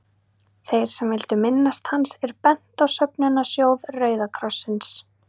Þeim sem vildu minnast hans er bent á söfnunarsjóð Rauða krossins.